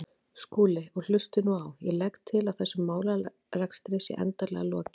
Skúli, og hlustið nú á: Ég legg til að þessum málarekstri sé endanlega lokið.